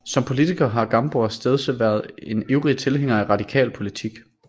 Som politiker har Gamborg stedse været en ivrig tilhænger af radikal politik